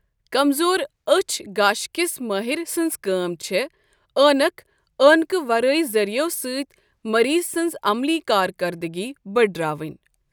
کَمزور أچھۍ گاشٕكِس مٲہِر سٕنٛز كٲم چھےٚ عٲنکہٕ عٲنكہٕ ورٲے ذٔریو سٕتۍ مریض سٕنٛز عملی كاركردگی بٕڈراوٕنۍ۔